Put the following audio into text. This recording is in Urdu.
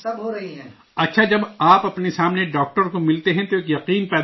اچھا، جب آپ اپنے سامنے ڈاکٹر کو ملتے ہیں تو ایک اعتماد بنتا ہے